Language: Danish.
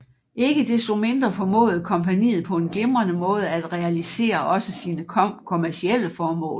Ikke desto mindre formåede kompagniet på en glimrende måde at realisere også sine kommercielle formål